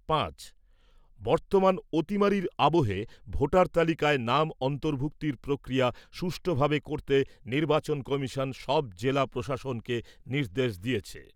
পাঁচ। বর্তমান অতিমারির আবহে ভোটার তালিকায় নাম অন্তর্ভুক্তির প্রক্রিয়া সুষ্ঠুভাবে করতে নির্বাচন কমিশন সব জেলা প্রশাসনকে নির্দেশ দিয়েছে।